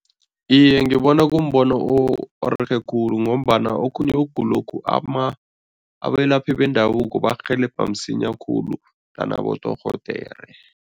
Iye, ngibona kumbono orerhe khulu ngombana okhunye ukugulokhu, abelaphi bendabuko barhelebha msinya khulu than abodorhodere.